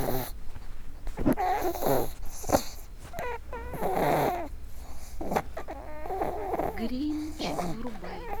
гринч врубай